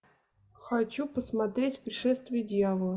хочу посмотреть пришествие дьявола